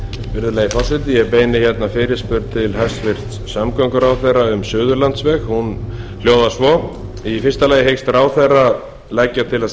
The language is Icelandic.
virðulegi forseti ég beini hérna fyrirspurn til hæstvirts samgönguráðherra um suðurlandsveg hún hljóðar svo í fyrsta lagi hyggst ráðherra leggja til að